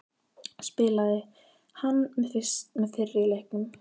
Spilaði hann með í fyrri leiknum?